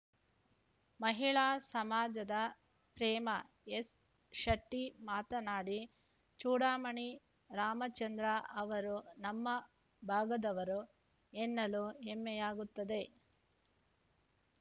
ಮಹಿಳಾ ಸಮಾಜದ ಪ್ರೇಮ ಎಸ್‌ಶೆಟ್ಟಿಮಾತನಾಡಿ ಚೂಡಾಮಣಿ ರಾಮಚಂದ್ರ ಅವರು ನಮ್ಮ ಭಾಗದವರು ಎನ್ನಲು ಹೆಮ್ಮೆಯಾಗುತ್ತದೆ